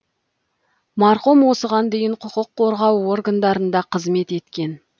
марқұм осыған дейін құқық қорғау органдарында қызмет еткен